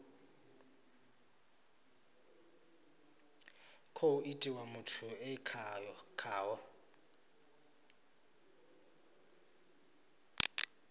khou itiwa muthu e khaho